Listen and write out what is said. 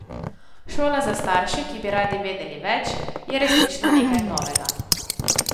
Šola za starše, ki bi radi vedeli več, je resnično nekaj novega.